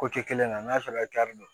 Ko kɛ kelen na n'a sɔrɔ don